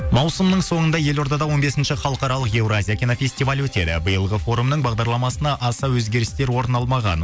маусымның соңында елордада он бесінші халықаралық еуразия кинофестивалі өтеді биылғы форумның бағдарламасынан аса өзгерістер орын алмаған